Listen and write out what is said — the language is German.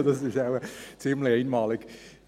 Also das ist wohl ziemlich einmalig!